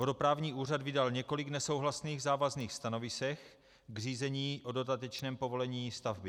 Vodoprávní úřad vydal několik nesouhlasných závazných stanovisek k řízení o dodatečném povolení stavby.